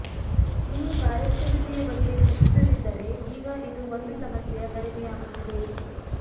ನೀವು ಕಾರ್ಯಕ್ಷಮತೆಯ ಬಗ್ಗೆ ಚಿಂತಿಸದಿದ್ದರೆ ಈಗ ಇದು ಒಂದು ಸಮಸ್ಯೆಯ ಕಡಿಮೆಯಾಗುತ್ತಿದೆ